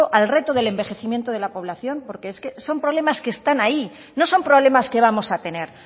al reto del envejecimiento de la población porque es que son problemas que está ahí no son problemas que vamos a tener